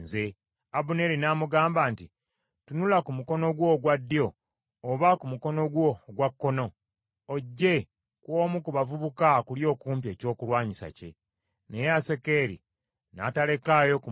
Abuneeri n’amugamba nti, “Tunula ku mukono gwo ogwa ddyo oba ku mukono gwo ogwa kkono ogye ku omu ku bavubuka akuli okumpi ekyokulwanyisa kye.” Naye Asakeri n’atalekaayo kumugoba.